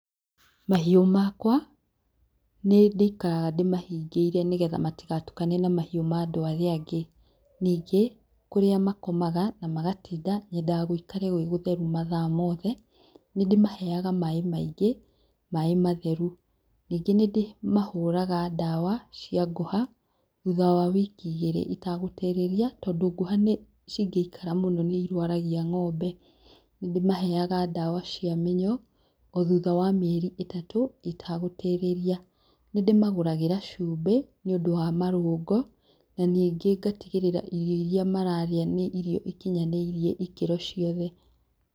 Mahiũ makwa nĩ ndĩikara ndĩmahingĩire nĩgetha matigatukane na mahiũ ma andũ arĩa angĩ. Ningĩ, kũrĩa makomaga, na magatinda, nyendaga gũikare gwĩ gũtheru mathaa mothe. Nĩ ndĩmaheaga maaĩ maingĩ, maaĩ matheru. Ningĩ nĩ ndĩmahũraga ndawa cia ngũha, thutha wa wiki igĩrĩ itagũtĩrĩria, tondũ ngũha cingĩikara mũno nĩ irwaragia ng'ombe. Nĩ ndĩmaheaga ndawa cia mĩnyoo, o thutha wa mĩeri ĩtatũ itagũtĩrĩria. Nĩ ndĩmagũragĩra cumbĩ. nĩũndũ wa marũrũngo, na ningĩ ngatigĩrĩra irio iria mararĩa nĩ irio ikinyanĩirie ĩkĩro ciothe.